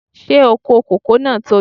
Ṣé oko kòkó náà tóbi?